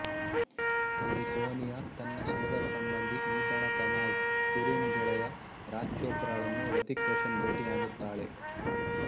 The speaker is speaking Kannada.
ಅಲ್ಲಿ ಸೋನಿಯಾ ತನ್ನ ಸೋದರಸಂಬಂಧಿ ನೀತಾಳ ತನಾಜ಼್ ಕುರಿಮ್ ಗೆಳೆಯ ರಾಜ್ ಚೋಪ್ರಾಳನ್ನು ಹೃತಿಕ್ ರೋಶನ್ ಭೇಟಿಯಾಗುತ್ತಾಳೆ